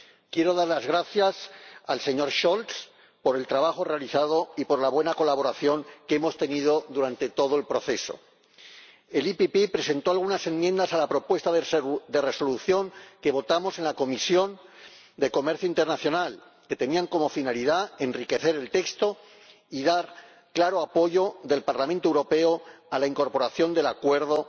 Quiero dar las gracias al señor Scholz por el trabajo realizado y por la buena colaboración que hemos tenido durante todo el proceso. El Grupo PPE presentó algunas enmiendas a la propuesta de Resolución que votamos en la Comisión de Comercio Internacional y que tenían como finalidad enriquecer el texto y dar el claro apoyo del Parlamento Europeo a la incorporación de Ecuador